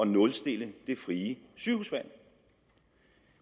nulstille det frie sygehusvalg